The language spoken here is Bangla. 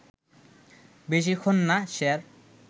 বেশিক্ষণ না, স্যার